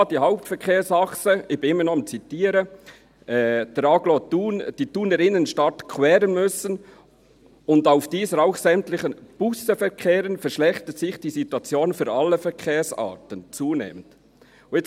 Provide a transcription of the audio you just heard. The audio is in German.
Da die Hauptverkehrsachsen» – ich zitiere immer noch – «der Agglomeration die Thuner Innenstadt queren […]» müssen und auf diesen auch sämtliche Busse verkehren müssen, «verschlechterte sich die Situation für sämtliche Verkehrsarten zunehmend».